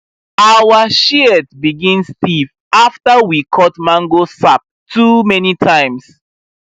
our shears begin stiff after we cut mango sap too many times